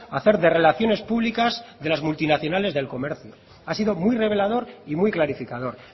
hacer de relaciones públicas de las multinacionales del comercio ha sido muy revelador y muy clarificador